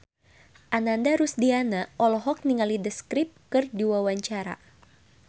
Ananda Rusdiana olohok ningali The Script keur diwawancara